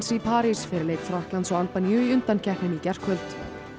í París fyrir leik Frakklands og Albaníu í undankeppninni í gærkvöld